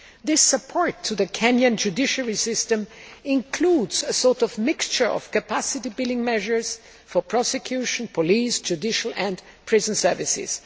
This support to the Kenyan judiciary system includes a sort of mixture of capacity building measures for prosecution, police, judicial and prison services.